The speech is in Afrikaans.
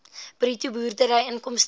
bruto boerdery inkomste